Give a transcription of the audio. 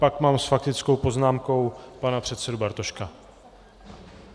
Pak mám s faktickou poznámkou pana předsedu Bartoška.